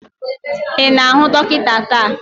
Ị na-ahụ dọkịta taa?